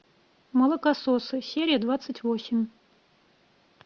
молокососы серия двадцать восемь